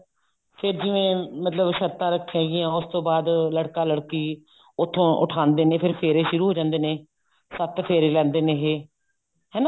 ਤੇ ਜਿਵੇਂ ਮਤਲਬ ਸ਼ਰਤਾਂ ਰੱਖੇ ਗੀਆਂ ਉਸ ਤੋਂ ਬਾਅਦ ਲੜਕਾ ਲੜਕੀ ਉੱਥੋਂ ਉਠਾਂਦੇ ਨੇ ਫੇਰ ਫੇਰੇ ਸ਼ੁਰੂ ਹੋ ਜਾਂਦੇ ਨੇ ਸੱਤ ਫੇਰੇ ਲੈਂਦੇ ਨੇ ਇਹ ਹਨਾ